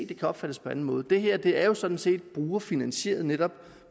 det kan opfattes på anden måde det her er jo sådan set brugerfinansieret netop